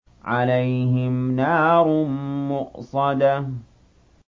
عَلَيْهِمْ نَارٌ مُّؤْصَدَةٌ